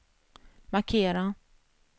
markera